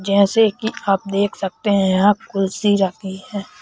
जैसे कि आप देख सकते हैं यहां कुलसी रखी है।